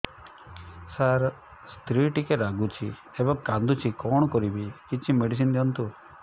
ସାର ସ୍ତ୍ରୀ ଟିକେ ରାଗୁଛି ଏବଂ କାନ୍ଦୁଛି କଣ କରିବି କିଛି ମେଡିସିନ ଦିଅନ୍ତୁ